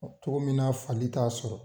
Cogo min na fali t'a sɔrɔ.